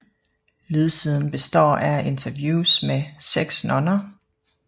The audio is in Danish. Lydsiden består af interviews med seks nonner